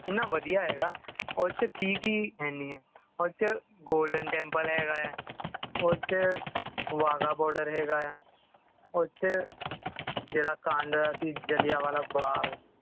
ਏਨਾ ਵਧੀਆ ਹੈ ਤਾਂ ਉਸ ਦੇ ਵਿੱਚ ਕੀ ਕੀ ਹੈ ਨਹੀਂ ਹੈ ਉੱਥੇ golden temple ਹੈਗਾ ਹੈ ਉੱਥੇ wagah border ਹੈਗਾ ਹੈ ਉੱਥੇ ਕਿਹੜਾ ਕਾਂਡ ਹੋਇਆ ਕਿ ਜਲ੍ਹਿਆਂਵਾਲਾ ਬਾਗ